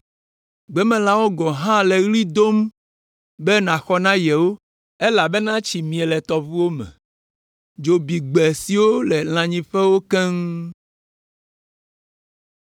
Gbemelãwo gɔ̃ hã le ɣli dom be nàxɔ na yewo, elabena tsi mie le tɔʋuwo me, dzo bi gbe siwo le lãnyiƒewo keŋ.